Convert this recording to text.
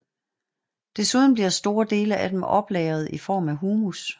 Desuden bliver store dele af dem oplagret i form af humus